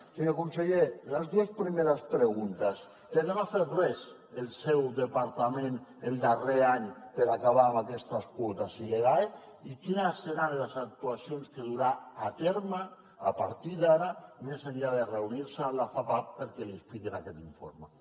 senyor conseller les dues primeres preguntes per què no ha fet res el seu departament el darrer any per acabar amb aquestes quotes il·legals i quines seran les actuacions que durà a terme a partir d’ara més enllà de reunir se amb la fapac perquè li expliquin aquest informe